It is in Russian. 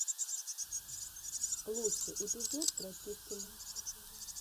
лучший эпизод братишкин